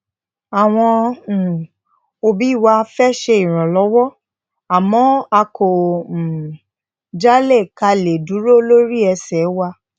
àwọn um obi wa fe se iranlowo àmó a kò um jálè ka le duro lori ese wa